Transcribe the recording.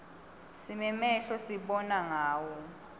sinemehlo sibona ngawo